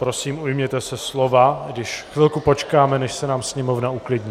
Prosím, ujměte se slova, když chvilku počkáme, než se nám Sněmovna uklidní.